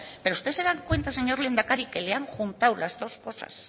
pero usted se da cuenta señor lehendakari que le han juntado las dos cosas